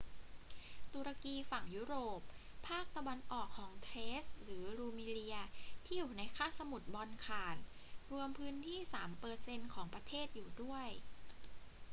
ตุรกีฝั่งยุโรป ภาคตะวันออกของเทรซหรือรูมีเลียที่่อยู่ในคาบสมุทรบอลข่าน รวมพื้นที่ 3% ของประเทศอยู่ด้วย